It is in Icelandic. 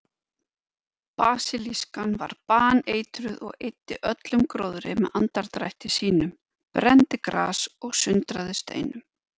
Basilískan var baneitruð og eyddi öllum gróðri með andardrætti sínum, brenndi gras og sundraði steinum.